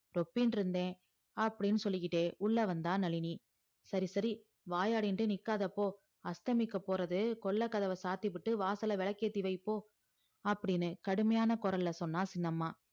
ரொப்பின்ரிந்தே அப்டின்னு சொல்லிகிட்டே உள்ள வந்தா நளினி சரி சரி வாயாடிண்டு நிக்காத போ அஷ்த்தமிக்க போறது கொள்ள காதவ சாத்திபுட்டு வாசல்ல விளக்கேத்தி வை போ அப்டின்னு கடுமையான குரல்ல சொன்னா சின்னம்மா